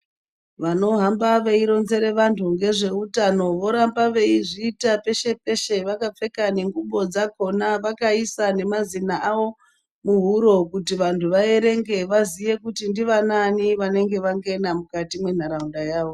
Vanohamba veironzere vantu ngezveutano voramba veizviita peshe peshe vakapfeka nengubho dzakhona vakaisa nemazina avo muhuro kuti vantu vaerenge vaziye kuti ndianani vanenge vangena mukati mwenharaunda yavo.